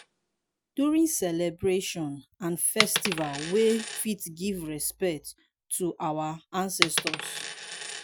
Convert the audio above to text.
during celebration and festival we fit give respect to our ancestors